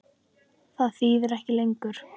Það þýðir ekki lengur.